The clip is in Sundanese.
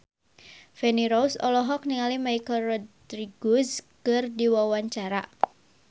Feni Rose olohok ningali Michelle Rodriguez keur diwawancara